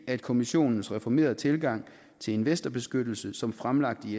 at kommissionens reformerede tilgang til investorbeskyttelse som fremlagt i